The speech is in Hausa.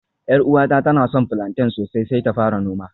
Yar uwata tana son plantain sosai sai ta fara noma